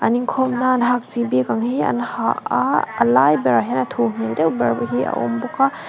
an inkhawmna an hak chi bik ang hi an ha a a lai berah hian a thu hmel deuh ber hi a awm bawk a.